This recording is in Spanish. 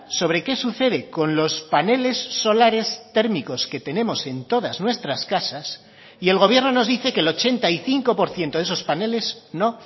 sobre qué sucede con los paneles solares térmicos que tenemos en todas nuestras casas y el gobierno nos dice que el ochenta y cinco por ciento de esos paneles no